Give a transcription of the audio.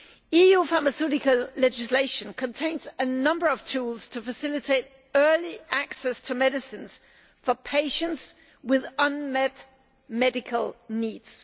EU pharmaceutical legislation contains a number of tools to facilitate early access to medicines for patients with unmet medical needs.